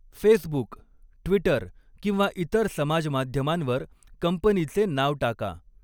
Facebook, Twitter किंवा इतर समाज माध्यमांवर कंपनीचे नाव टाका.